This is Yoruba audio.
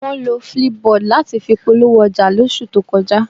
Wọ́n lo flipboard láti fi polówó ọjà lóṣù tó kọjá